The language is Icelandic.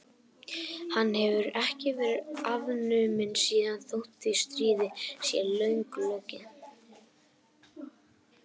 Hann hefur ekki verið afnuminn síðan þótt því stríði sé löngu lokið.